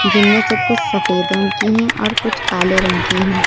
जिनमें से कुछ सफेद रंग की है और कुछ काले रंग की हैं।